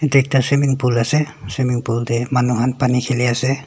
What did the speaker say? eta ekta swimming pool ase swimming pool manu khan pani kheli ase.